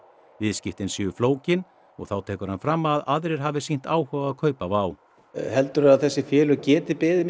viðskiptin séu flókin og þá tekur hann fram að aðrir hafi sýnt áhuga að kaupa Wow heldur þú að þessi félög geti beðið